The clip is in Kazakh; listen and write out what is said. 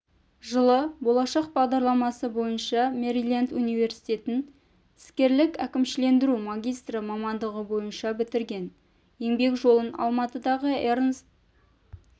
жылы болашақ бағдарламасы бойынша мэриленд университетін іскерлік әкімшілендіру магистрі мамандығы бойынша бітірген еңбек жолын алматыдағы эрнст